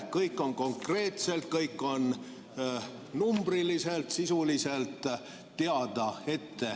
Kõik on konkreetselt, kõik on numbriliselt, sisuliselt ette teada.